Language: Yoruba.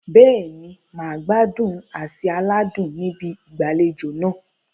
Bẹ́ẹ̀ni, mà á gbádùn àsè aládùn ní ibi ìgbàlejò náà.